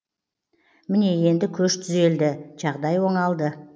міне енді көш түзелді жағдай оңалды